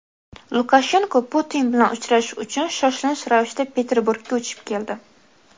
Lukashenko Putin bilan uchrashish uchun shoshilinch ravishda Peterburgga uchib keldi.